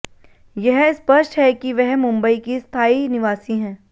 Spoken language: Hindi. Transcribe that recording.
यह स्पष्ट है कि वह मुंबई की स्थायी निवासी हैं